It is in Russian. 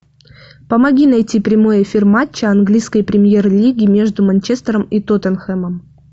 помоги найти прямой эфир матча английской премьер лиги между манчестером и тоттенхэмом